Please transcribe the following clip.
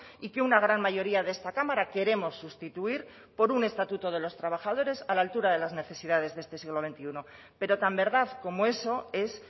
y que una gran mayoría de esta cámara queremos sustituir por un estatuto de los trabajadores a la altura de las necesidades de este siglo veintiuno pero tan verdad como eso es